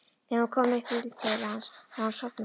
Þegar hún kom upp í til hans var hann sofnaður.